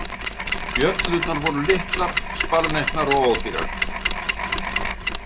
Bjöllurnar voru litlar, sparneytnar og ódýrar.